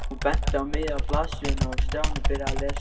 Hún benti á miðja blaðsíðuna og Stjáni byrjaði að lesa.